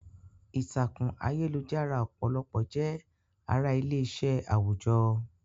Ìtàkùn ayélujára ọ̀pọ̀lọpọ̀ jẹ́ ara ilé-iṣẹ́ àwùjọ.